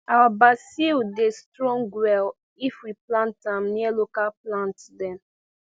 our basil dey strong well if we plant am near local plant dem